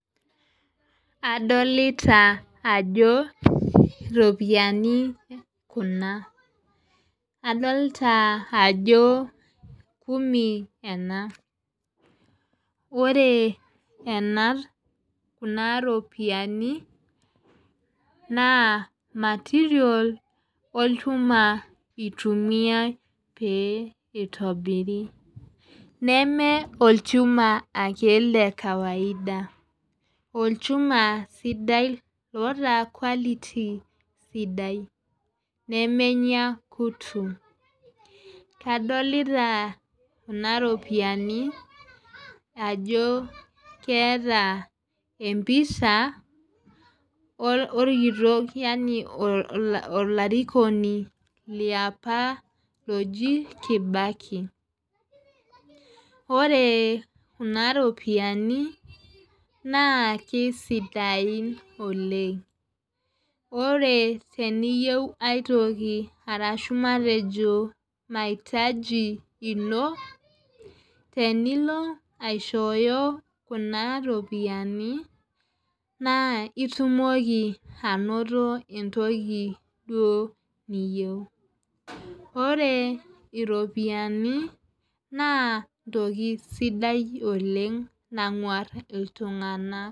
Adolita ajoo iropiani kuna. Adolita ajo kumi enaa . Ore ena kuna ropiani naa material olchuma itumia pee itobiri. Neme olchuma ake lee kawaida. Olchuma sidai loota quality sidai. Nemenya kutu. Kadolita kuna ropiani ajo keeta embisha orkitok yaani olarikoni liapa loji Kibaki. Ore kuna ropiani naa kisidain oleng'. Ore teniyeu aitoki arashu matejo mahitaji ino tenilo ashoyo kuna ropiani naa itomoki anoto entukii duo niyeu. Ore iropiani naa entoki sidai nang'uar iltung'ana.